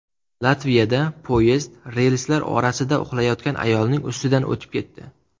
Latviyada poyezd relslar orasida uxlayotgan ayolning ustidan o‘tib ketdi.